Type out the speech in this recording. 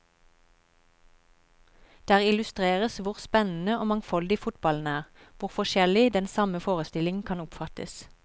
Der illustreres hvor spennende og mangfoldig fotballen er, hvor forskjellig den samme forestillingen kan oppfattes.